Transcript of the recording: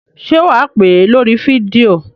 Ṣé wà á pè é lórí fídíò?